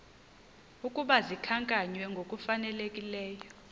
ukuba zikhankanywe ngokufanelekileyo